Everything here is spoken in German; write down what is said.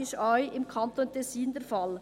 Dasselbe ist im Kanton Tessin der Fall.